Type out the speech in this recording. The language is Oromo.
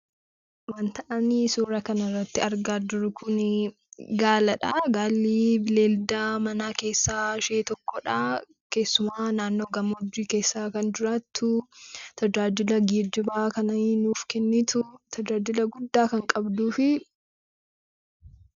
Wanta ani suuraa kanarratti argaa jiru kun Gaaladha. Gaalli bineelda mana keessaa ishee tokkodha. keessumaa naannoo gammoojjii keessa kan jiraattu, tajaajila geejjibaa kan nuuf kennitu, tajaajila guddaa kan qabdufi....